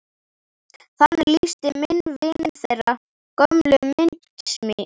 Þannig lýsti minn vin þeirri gömlu myndasmíð.